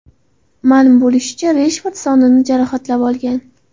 Ma’lum bo‘lishicha, Reshford sonini jarohatlab olgan.